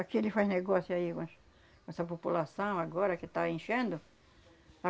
Aqui ele faz negócio aí com as, com essa população agora que tá enchendo. A